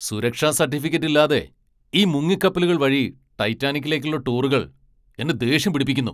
സുരക്ഷാ സർട്ടിഫിക്കറ്റ് ഇല്ലാതെ ഈ മുങ്ങിക്കപ്പലുകൾ വഴി ടൈറ്റാനിക്കിലേക്കുള്ള ടൂറുകൾ എന്നെ ദേഷ്യം പിടിപ്പിക്കുന്നു.